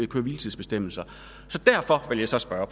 køre hvile tids bestemmelser derfor vil jeg så spørge